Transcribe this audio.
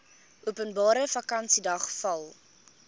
openbare vakansiedag val